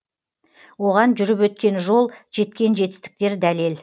оған жүріп өткен жол жеткен жетістіктер дәлел